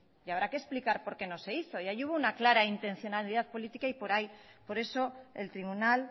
y habrá que explicar por qué no se hizo y ahí hubo una clara intencionalidad política y por eso el tribunal